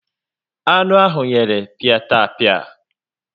Anu ahụ yere piatapia